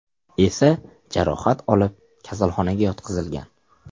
esa jarohat olib kasalxonaga yotqizilgan.